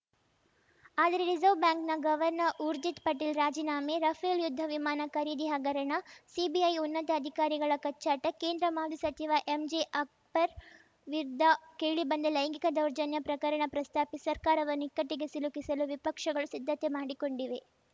ಆದರೆ reserve bank governor Urjit Patel ರಾಜೀನಾಮೆ Rafale ಯುದ್ಧ ವಿಮಾನ ಖರೀದಿ ಹಗರಣ ಸಿಬಿಐ ಉನ್ನತ ಅಧಿಕಾರಿಗಳ ಕಚ್ಚಾಟ ಕೇಂದ್ರ ಮಾಜಿ ಸಚಿವ ಎಂಜೆ ಅಕ್ಬರ್‌ ವಿರುದ್ಧ ಕೇಳಿಬಂದ ಲೈಂಗಿಕ ದೌರ್ಜನ್ಯ ಪ್ರಕರಣ ಪ್ರಸ್ತಾಪಿಸಿ ಸರ್ಕಾರವನ್ನು ಇಕ್ಕಟ್ಟಿಗೆ ಸಿಲುಕಿಸಲು ವಿಪಕ್ಷಗಳು ಸಿದ್ಧತೆ ಮಾಡಿಕೊಂಡಿವೆ